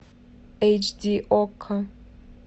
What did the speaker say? эйч ди окко